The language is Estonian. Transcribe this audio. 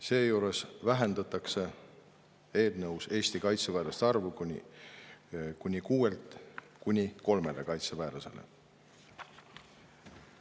Seejuures on eelnõus vähendatud Eesti kaitseväelaste arvu seal kuni kuuelt kuni kolmele kaitseväelasele.